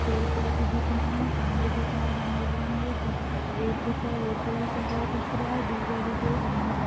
पेड़ पोधे दिख रहे है खम्भे दिख रहे है रेंगे बिरंगे रोड दिख रहा है रोड पे भी कलर दिख रहा है दुभा दिख रहा हैग्रीन कल--